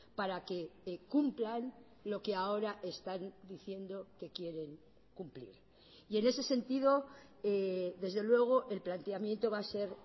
para que cumplan lo que ahora están diciendo que quieren cumplir y en ese sentido desde luego el planteamiento va a ser